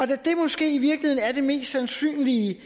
det måske i virkeligheden er det mest sandsynlige